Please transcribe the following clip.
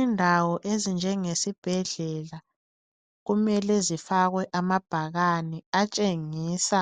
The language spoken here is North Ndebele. Indawo ezinjengesibhedlela kumele zifakwe amabhakane atshengisa